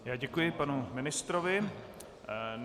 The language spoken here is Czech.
Já děkuji panu ministrovi.